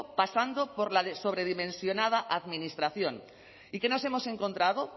pasando por la sobredimensionada administración y qué nos hemos encontrado